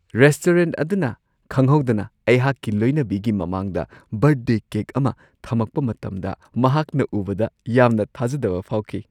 Restaurant ꯑꯗꯨꯅ ꯈꯪꯍꯧꯗꯅ ꯑꯩꯍꯥꯛꯀꯤ ꯂꯣꯏꯅꯕꯤꯒꯤ ꯃꯃꯥꯡꯗ ꯕꯔꯊꯗꯦ ꯀꯦꯛ ꯑꯃ ꯊꯝꯃꯛꯄ ꯃꯇꯝꯗ ꯃꯍꯥꯛꯅ ꯎꯕꯗ ꯌꯥꯝꯅ ꯊꯥꯖꯗꯕ ꯐꯥꯎꯈꯤ ꯫